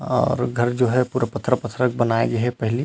और घर जो है पूरा पत्थरा-पत्थरा के बनाये गे हे पहली--